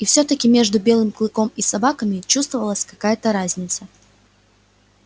и всё таки между белым клыком и собаками чувствовалась какая то разница